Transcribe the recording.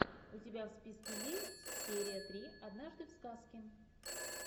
у тебя в списке есть серия три однажды в сказке